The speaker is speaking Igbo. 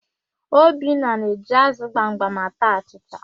Obinna na-eji ázụ̀ gbamgbam ata achịcha.